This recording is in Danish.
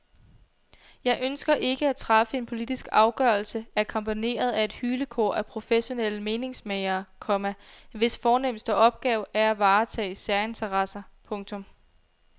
Jeg ønsker ikke at træffe en politisk afgørelse akkompagneret af et hylekor af professionelle meningsmagere, komma hvis fornemmeste opgave er at varetage særinteresser. punktum